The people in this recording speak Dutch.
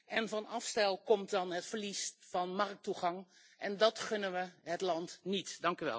En van afstel komt dan het verlies van markttoegang en dat wensen we het land niet toe.